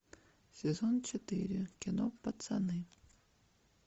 сезон четыре кино пацаны